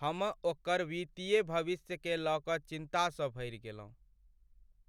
हम ओकर वित्तीय भविष्यकेँ लऽ कऽ चिन्तासँ भरि गेलहुँ।